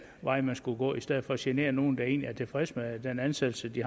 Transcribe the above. vej man skulle gå i stedet for at genere nogle der egentlig er tilfredse med den ansættelse de